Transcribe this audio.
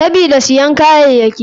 Sabida siyan kayayaki.